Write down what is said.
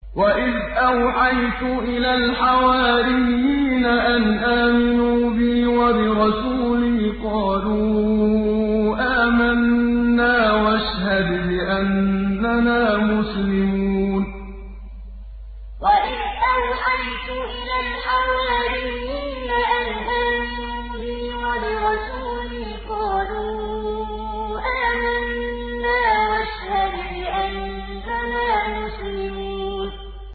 وَإِذْ أَوْحَيْتُ إِلَى الْحَوَارِيِّينَ أَنْ آمِنُوا بِي وَبِرَسُولِي قَالُوا آمَنَّا وَاشْهَدْ بِأَنَّنَا مُسْلِمُونَ وَإِذْ أَوْحَيْتُ إِلَى الْحَوَارِيِّينَ أَنْ آمِنُوا بِي وَبِرَسُولِي قَالُوا آمَنَّا وَاشْهَدْ بِأَنَّنَا مُسْلِمُونَ